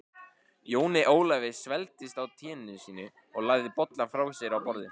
Jóni Ólafi svelgdist á teinu sínu og lagði bollann frá sér á borðið.